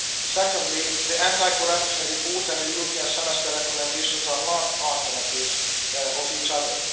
Secondly, the anti corruption report and the European Semester recommendations are not alternatives of each other.